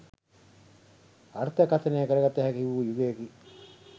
අර්ථකථනය කරගත හැකි වූ යුගයකි.